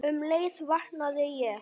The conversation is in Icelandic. Um leið vaknaði ég.